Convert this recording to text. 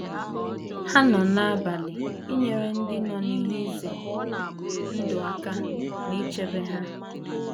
Ha nọ na - agbalị inyere ndị nọ n’ihe ize ndụ aka na ichebe ha.